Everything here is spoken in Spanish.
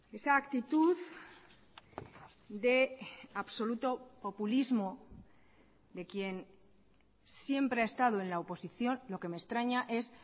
esa actitud de absoluto populismo de quien siempre ha estado en la oposición lo que me extraña es